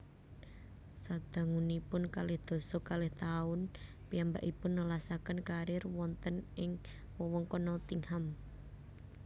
Sadangunipun kalih dasa kalih taun piyambakipun nelasaken kariér wonten ing wewengkon Nottingham